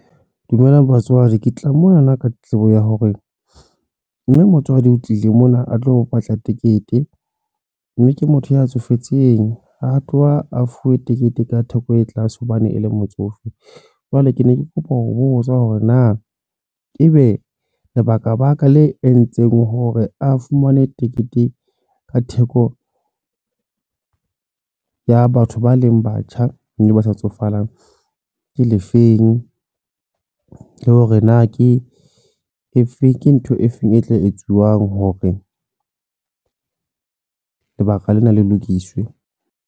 Dumela batswadi ke tla mona na ka tletlebo ya hore mme motswadi o tlile mona a tlo batla tikete mme ke motho a tsofetseng ha tloha a fuwe tekete ka theko e tlase hobane e le motsofe. Jwale ke ne ke kopa ho botsa hore na ebe lebaka baka le entseng hore a fumane tekete ka theko ya batho ba leng batjha mme ba sa tsofaleng ke le feng le hore ho e efeng, ke ntho e feng e tla etsuwang hore lebaka lena le lokiswe?